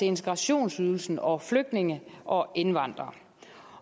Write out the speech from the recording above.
integrationsydelsen og flygtninge og indvandrere